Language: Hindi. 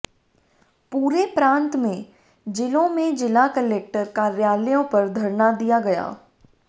पूरे प्रांत में जिलों में जिला कलेक्टर कार्यालयों पर धरना दिया गया